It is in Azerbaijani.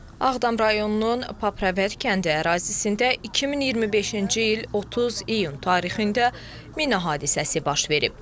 Ağdam rayonunun Papravənd kəndi ərazisində 2025-ci il 30 iyun tarixində mina hadisəsi baş verib.